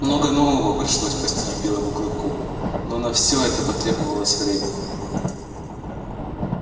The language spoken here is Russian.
много нового пришлось постичь белому клыку но на все это потребовалось время